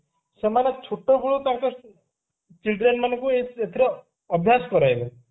ସେମାନେ ଛୋଟବେଳୁ ତାଙ୍କ children ମାନଙ୍କୁ ଏଥିର ଅଭ୍ୟାସ କରାଇବେ